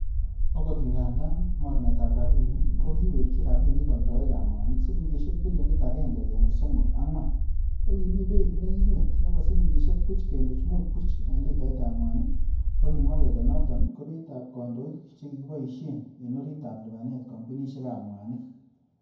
Okot ngandan mornetab rabinik ko kiwekyi rabinik oldoik ab mwanik silingisiek bilionit angenge kenuch somok angwan, ko kimi beit nekinget nebo silingisiek buch kenuch mut buch en litaitab mwanin, kokimwa kele noton ko beitab kondoik che kikiboishen en oritab lipanet kompunisiek ab mwanik.